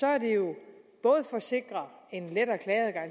er det jo både for at sikre en lettere klageadgang